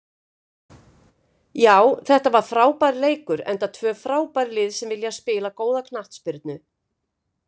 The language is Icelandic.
Já þetta var frábær leikur enda tvö frábær lið sem vilja spila góða knattspyrnu.